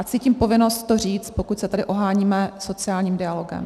A cítím povinnost to říct, pokud se tedy oháníme sociálním dialogem.